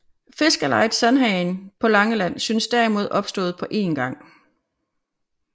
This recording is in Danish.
Fiskerlejet Sandhagen på Langeland synes derimod opstået på een gang